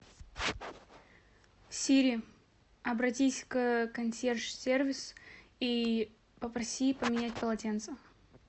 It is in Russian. сири обратись к консьерж сервис и попроси поменять полотенце